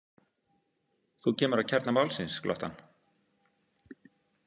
Þú kemur að kjarna málsins, glotti hann.